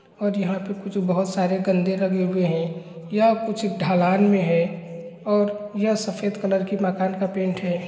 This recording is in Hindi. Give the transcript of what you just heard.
और यहां पे कुछ बहुत सारे लगे हुए हैं यह कुछ ढलान मे है और यह सफेद कलर के मकान का पैंट है ।